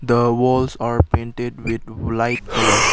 the walls are painted with light colour.